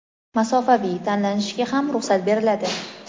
masofaviy) tanlashiga ham ruxsat beriladi.